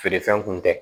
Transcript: Feere fɛn kun tɛ